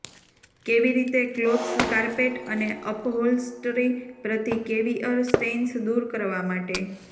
કેવી રીતે clothes carpet અને અપહોલ્સ્ટરી પ્રતિ કેવિઅર સ્ટેઇન્સ દૂર કરવા માટે